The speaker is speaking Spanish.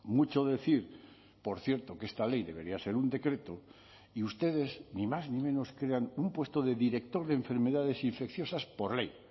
mucho decir por cierto que esta ley debería ser un decreto y ustedes ni más ni menos crean un puesto de director de enfermedades infecciosas por ley